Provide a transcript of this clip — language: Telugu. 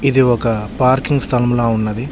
ఇది ఒక పార్కింగ్ స్థలములా ఉన్నది.